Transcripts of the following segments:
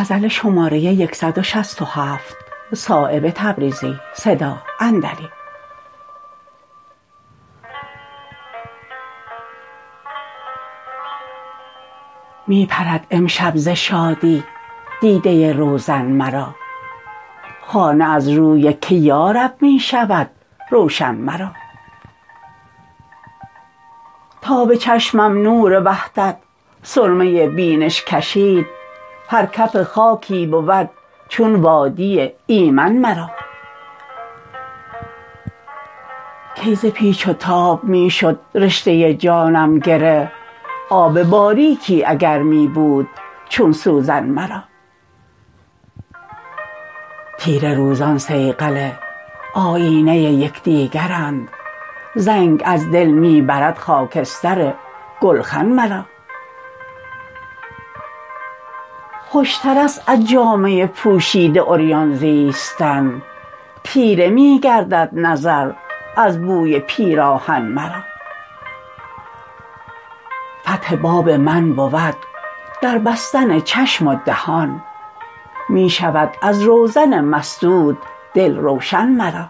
می پرد امشب ز شادی دیده روزن مرا خانه از روی که یارب می شود روشن مرا تا به چشمم نور وحدت سرمه بینش کشید هر کف خاکی بود چون وادی ایمن مرا کی ز پیچ و تاب می شد رشته جانم گره آب باریکی اگر می بود چون سوزن مرا تیره روزان صیقل آیینه یکدیگرند زنگ از دل می برد خاکستر گلخن مرا خوشترست از جامه پوشیده عریان زیستن تیره می گردد نظر از بوی پیراهن مرا فتح باب من بود در بستن چشم و دهان می شود از روزن مسدود دل روشن مرا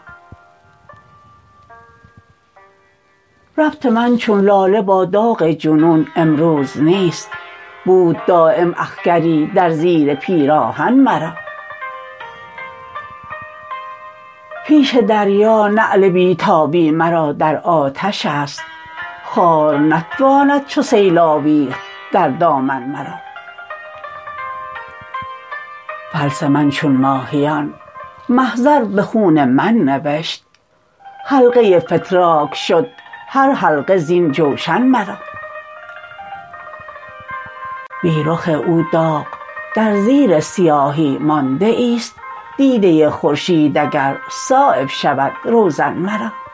ربط من چون لاله با داغ جنون امروز نیست بود دایم اخگری در زیر پیراهن مرا پیش دریا نعل بی تابی مرا در آتش است خار نتواند چو سیل آویخت در دامن مرا فلس من چون ماهیان محضر به خون من نوشت حلقه فتراک شد هر حلقه زین جوشن مرا بی رخ او داغ در زیر سیاهی مانده ای است دیده خورشید اگر صایب شود روزن مرا